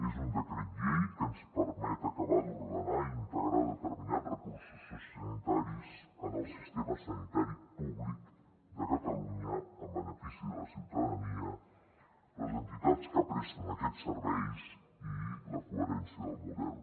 és un decret llei que ens permet acabar d’ordenar i integrar determinats recursos sociosanitaris en el sistema sanitari públic de catalunya en benefici de la ciutadania les entitats que presten aquests serveis i la coherència del model